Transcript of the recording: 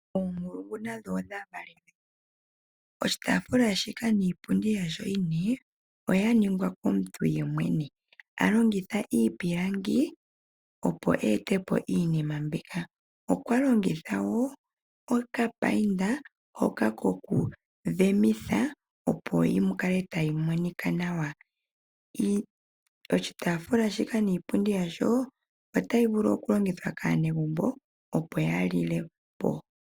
Oonkulungu nadho odha valelwe. Oshitaafula shika niipundi yasho ine oya ningwa komuntu yemwene. Alongitha iipilangi opo etepo iinima mbika. Okwa longitha wo okapaint hoka koku dhemitha opo yi kale tayi monika nawa. Oshitaafula shika niipundi yasho otashi vulu oku longithwa kaanegumbo. Opo ya lile po.